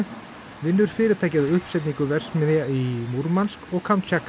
vinnur fyrirtækið að uppsetningu verksmiðja í Múrmansk og